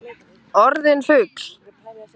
Orðin fugl.